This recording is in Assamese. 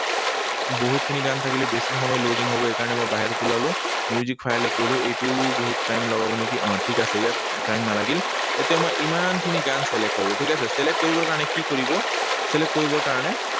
বহুতখিনি গান থাকিলে বেছি সময় loading হব, সেইকাৰণে মই বাহিৰত ওলালো। Music file ত গলো। এইটোও বহুত time লগাব নেকি। ঠিক আছে, ইয়াত time নালাগিল। এতিয়া মই ইমানখিনি গান select কৰিলো, ঠিক আছে? Select কৰিবৰ কাৰণে কি কৰিব? Select কৰিবৰ কাৰণে